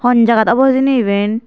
hon jagat obo hijeni eben.